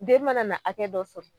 Den mana na hakɛ dɔ sɔrɔ.